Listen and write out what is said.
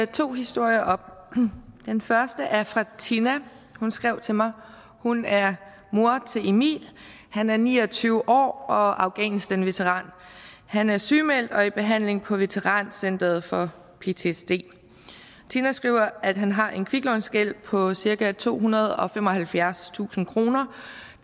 to historier op den første er fra tina som skrev til mig hun er mor til emil han er ni og tyve år og afghanistanveteran han er sygemeldt og i behandling på veterancentret for ptsd tina skriver at han har en kviklånsgæld på cirka tohundrede og femoghalvfjerdstusind kroner